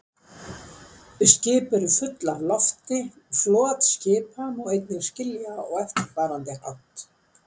Skip eru full af lofti Flot skipa má einnig skilja á eftirfarandi hátt.